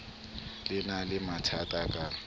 le na le mathatha ka